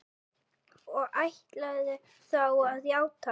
Og ætlarðu þá að játa?